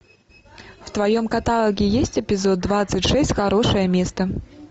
в твоем каталоге есть эпизод двадцать шесть хорошее место